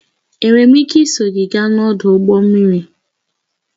Enwere m ike iso gị gaa n'ọdụ ụgbọ mmiri?